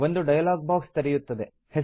ಒಂದು dialog box ತೆರೆಯುತ್ತದೆ